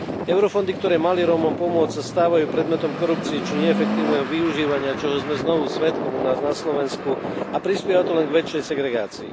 Eurofondy, ktoré mali Rómom pomôcť, sa stávajú predmetom korupcie či neefektívneho využívania, čoho sme znovu svedkom u nás na Slovensku, a prispieva to len k väčšej segregácii.